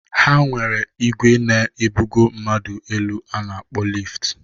Ha nwere igwe na ebugo mmadụ elu a na-akpọ lift.